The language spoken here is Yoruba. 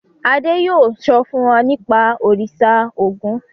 Adé yóò sọ fún wa nípa Òrìṣà Ògún.